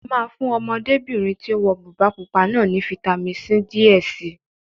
A máa fún Ọmọdébìnrin tí ó wọ bùbá pupa náà ní fitamisi C díẹ̀ si